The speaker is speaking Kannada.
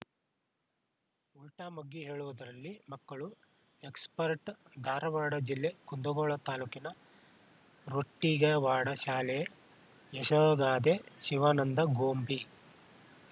ಉಲ್ಟಾಮಗ್ಗಿ ಹೇಳುವುದರಲ್ಲಿ ಮಕ್ಕಳು ಎಕ್ಸ್‌ಪರ್ಟ್‌ ಧಾರವಾಡ ಜಿಲ್ಲೆ ಕುಂದಗೋಳ ತಾಲೂಕಿನ ರೊಟ್ಟಿಗವಾಡ ಶಾಲೆಯ ಯಶೋಗಾಧೆ ಶಿವಾನಂದ ಗೊಂಬಿ